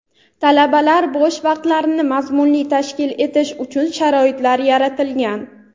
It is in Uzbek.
talabalar bo‘sh vaqtlarini mazmunli tashkil etishi uchun sharoitlar yaratilgan.